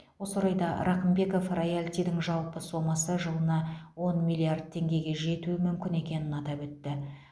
осы орайда рақымбеков роялтидің жалпы сомасы жылына он миллиард теңгеге жетуі мүмкін екенін атап өтті